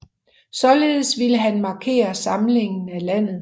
Således ville han markere samlingen af landet